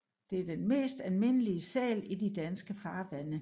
Det er den mest almindelige sæl i de danske farvande